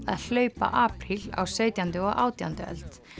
að hlaupa apríl á sautjándu og átjándu öld